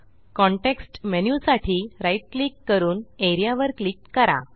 context menu साठी right click करून A R E A वर क्लिक करा